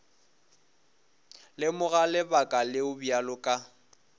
lemoga lebaka leo bjale ka